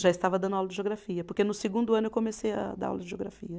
Já estava dando aula de geografia, porque no segundo ano eu comecei a dar aula de geografia.